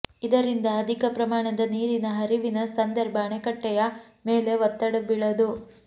ಇದರಿಂದ ಅಧಿಕ ಪ್ರಮಾಣದ ನೀರಿನ ಹರಿವಿನ ಸಂದರ್ಭ ಅಣೆಕಟ್ಟೆಯ ಮೇಲೆ ಒತ್ತಡ ಬೀಳದು